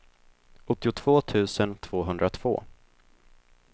åttiotvå tusen tvåhundratvå